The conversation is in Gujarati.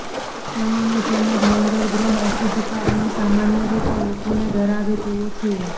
શનિની જેમ જ મંગળ ગ્રહ અશુભતા અને સામાન્ય રીતે લોકોને ડરાવે તેવો છે